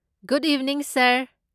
Good evening, sir!